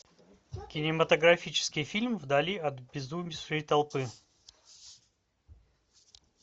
кинематографический фильм вдали от обезумевшей толпы